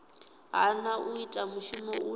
hana u ita mushumo une